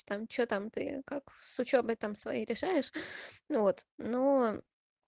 там что там ты как с учёбой там своей решаешь ну вот но